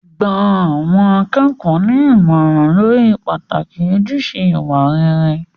Gba àwọn akẹ́kọ̀ọ́ ní ìmọ̀ràn lórí pàtàkì ojúṣe ìwà rere.